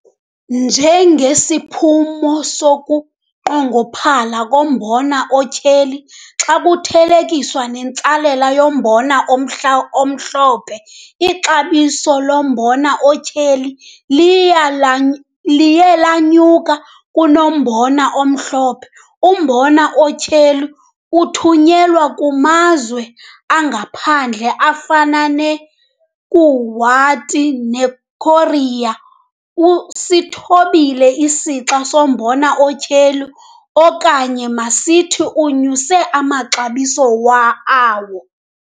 Njengesiphumo sokunqongophala kombona otyheli xa kuthelekiswa nentsalela yombona omhla omhlophe, ixabiso lombona otyheli liya la liye lanyuka kunelombona omhlophe. Umbona otyheli othunyelwa kumazwe angaphandle afana neKuwait neKorea usithobile isixa sombona otyheli okanye masithi unyuse amaxabiso wa awo.